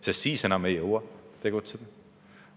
Sest siis enam ei jõua tegutseda.